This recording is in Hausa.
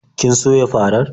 Kin soya farar?